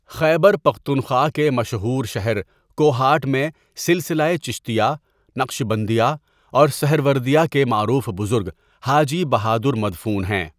خیبر پختونخوا کے مشہور شہر کوہاٹ میں سلسلہ چشتیہ، نقشبندیہ اور سہروردیہ کے معروف بزرگ حاجی بہادرمدفون ہیں.